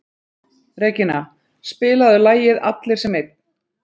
Regína, spilaðu lagið „Allir sem einn“.